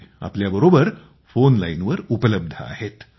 ते आपल्यासोबत फोन लाइनवर उपलब्ध आहेत